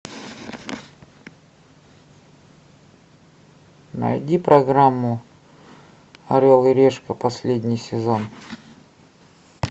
найди программу орел и решка последний сезон